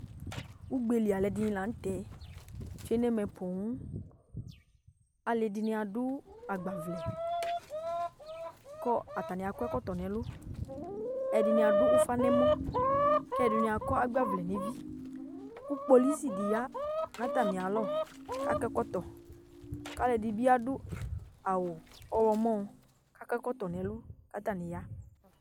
Ugbeli alu ɛdini laŋtɛ tsoe nɛmɛ poooŋAlʋ ɛdini adʋ agbavlɛ, kʋ atani akɔ ɛkɔtɔ nɛlʋƐdini adʋ ufa nɛmɔKɛdini akɔ agbavlɛ neviKʋ kpolusi di ya natamialɔKakɔ ɛkɔtɔ kɛdini aɖʋ awu ɔɣlɔmɔ , kakɔ ɛkɔtɔ nɛlu , katani ya